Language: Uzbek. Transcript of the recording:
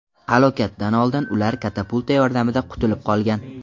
Halokatdan oldin ular katapulta yordamida qutulib qolgan.